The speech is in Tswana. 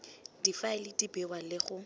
difaele di bewa le go